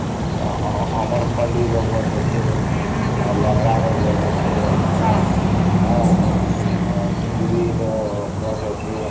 ଆମର ଫଳି ର ଗଛ ଅଛେ ଆଉ ଲେଙ୍ଗେଡା ର ଗଛ ଅଛେ ଆଃ ସିନ୍ଦୁରି ର ଗଛ ଅଛେ